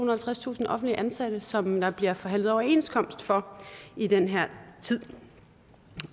og halvtredstusind offentligt ansatte som der bliver forhandlet overenskomst for i den her tid